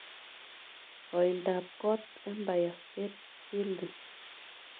Koiindaap koot empire state building